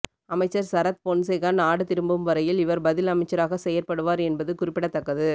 அமைச்சர் சரத்பொன்சேக நாடுதிரும்பும் வரையில் இவர் பதில் அமைச்சராக செயற்படுவார் என்பது குறிப்பிடத்தக்கது